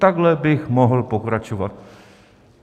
Takhle bych mohl pokračovat.